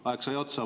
Aeg sai otsa.